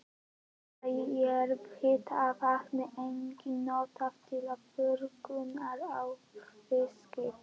Þá er jarðhitavatn einnig notað til þurrkunar á fiski.